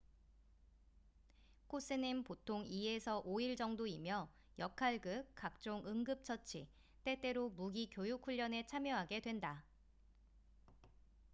코스는 보통 2-5일 정도이며 역할극 각종 응급 처치 때때로 무기 교육훈련에 참여하게 된다